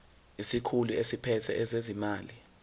isikhulu esiphethe ezezimali